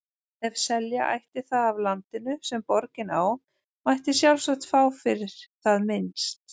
Ef selja ætti það af landinu, sem borgin á, mætti sjálfsagt fá fyrir það minnst